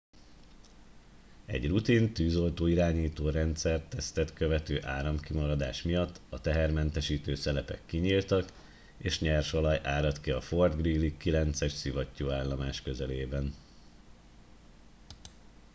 egy rutin tűzoltó irányító rendszer tesztet követő áramkimaradás miatt a tehermentesítő szelepek kinyíltak és nyersolaj áradt ki a fort greely 9 es szivattyúállomás közelében